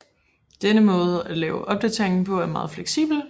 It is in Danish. Denne måde at lave opdateringen på er meget fleksibel